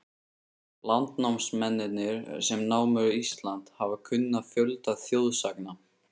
Landnámsmennirnir, sem námu Ísland, hafa kunnað fjölda þjóðsagna.